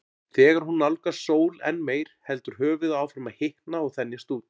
Þegar hún nálgast sól enn meir heldur höfuðið áfram að hitna og þenjast út.